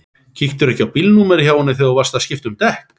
Kíktirðu ekki á bílnúmerið hjá henni þegar þú varst að skipta um dekk?